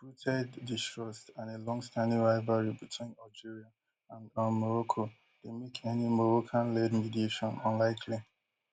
deeprooted distrust and a longstanding rivalry between algeria and um morocco dey make any moroccanled mediation unlikely